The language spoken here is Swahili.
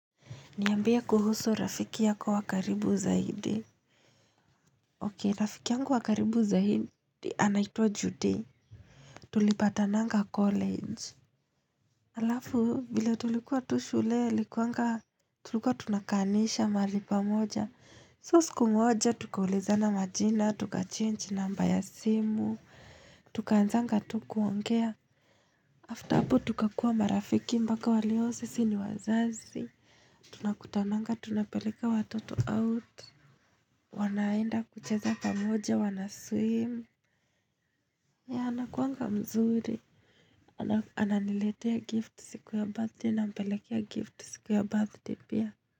Niambie kuhusu rafiki yako wa karibu zaidi. Okei, rafiki yangu wa karibu zaidi anaitwa Judy. Tulipatananga college. Alafu, vile tulikuwa tu shule alikuanga tulikuwa tunakaanisha mahali pamoja. So siku moja, tukaulizana majina, tuka change namba ya simu, tukaanzanga tu kuongea. After hapo, tukakuwa marafiki mpaka waleo sisi ni wazazi. Tunakutananga, tunapeleka watoto out. Wanaenda kucheza pamoja wanaswim yeah, anakuanga mzuri Ananiletea gift siku ya birthday nampelekea gift siku ya birthday pia.